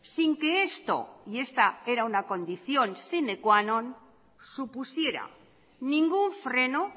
sin que esto y esta era una condición sine qua non supusiera ningún freno